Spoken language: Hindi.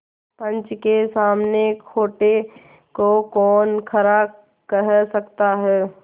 पंच के सामने खोटे को कौन खरा कह सकता है